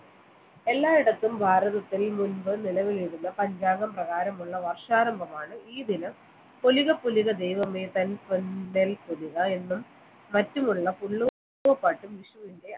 എല്ലായിടത്തും ഭാരതത്തിൽ മുൻപ് നിലവിലുള്ള പഞ്ചാംഗം പ്രകാരമുള്ള വർഷാരംഭമാണ് ഈ ദിനം ഒലിവ് പുലിക ദൈവമേ തൻ എന്നും മറ്റുമുള്ള പുല്ലൂർ പാട്ടും വിഷുവിന്റെ